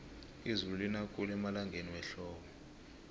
izulu lina khulu emalangeni wehlobo